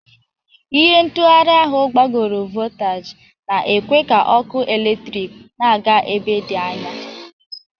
Ihe ntụgharị ahụ gbagoro voltaji, na-ekwe ka ọkụ eletrik na-aga ebe dị anya.